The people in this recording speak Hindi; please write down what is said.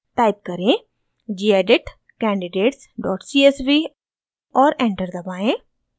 टाइप करें: gedit candidatescsv और एंटर दबाएं